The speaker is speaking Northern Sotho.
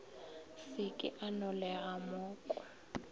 se ke a nolega moko